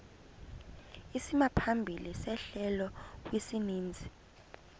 isimaphambili sehlelo kwisininzi